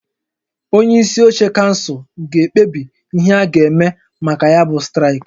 Onye isi oche kansụl ga-ekpebi ihe a ga-eme maka ya bụ straịkị